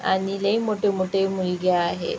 आणि लय मोठे मोठे मुलगे आहे.